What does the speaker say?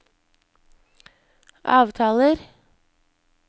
avtaler